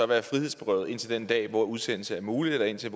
være frihedsberøvet indtil den dag hvor udsendelse er mulig eller indtil